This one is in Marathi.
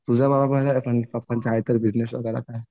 तुझं पप्पांचं आहेतरी बिजनेस वगैरे काय.